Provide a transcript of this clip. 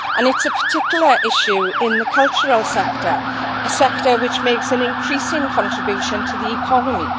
It is a particular issue in the cultural sector, a sector which makes an increasing contribution to the economy.